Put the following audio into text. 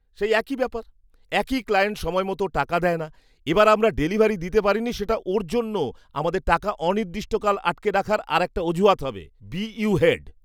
সেই একই ব্যাপার, একেই ক্লায়েন্ট সময়মতো টাকা দেয় না, এবার আমরা ডেলিভারি দিতে পারিনি সেটা ওঁর জন্য আমাদের টাকা অনির্দিষ্টকাল আটকে রাখার আরেকটা অজুহাত হবে। BU head